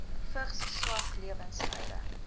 vigs swak lewensstyle